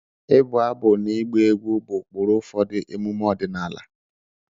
ịbụ abụ na ịgba egwu bụ ụkpụrụ ụfọdụ emume ọdịnala